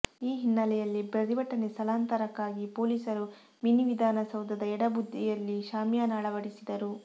ಈ ಹಿನ್ನಲೆಯಲ್ಲಿ ಪ್ರತಿಭಟನೆ ಸ್ಥಳಾಂತರಕ್ಕಾಗಿ ಪೊಲೀಸರು ಮಿನಿವಿಧಾನ ಸೌಧದ ಎಡ ಬದಿಯಲ್ಲಿ ಶಾಮಿಯಾನ ಅಳವಡಿಸಿದರು